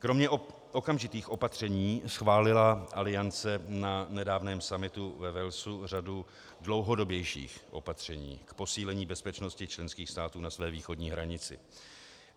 Kromě okamžitých opatření schválila Aliance na nedávném summitu ve Walesu řadu dlouhodobějších opatření k posílení bezpečnosti členských států na své východní hranici.